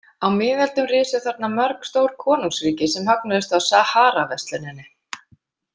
Á miðöldum risu þarna mörg stór konungsríki sem högnuðust á Saharaversluninni.